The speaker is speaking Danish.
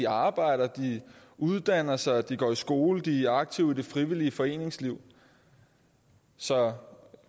arbejder uddanner sig går i skole og er aktive i det frivillige foreningsliv så